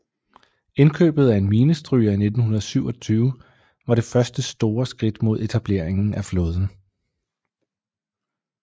Indkøbet af en minestryger i 1927 var det første store skridt mod etableringen af flåden